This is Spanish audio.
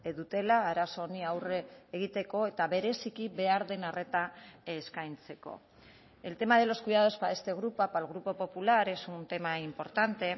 dutela arazo honi aurre egiteko eta bereziki behar den arreta eskaintzeko el tema de los cuidados para este grupo para el grupo popular es un tema importante